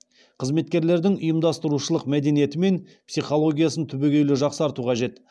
қызметкерлердің ұйымдастырушылық мәдениеті мен психологиясын түбегейлі жақсарту қажет